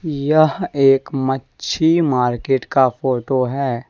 यह एक मच्छी मार्केट का फोटो है।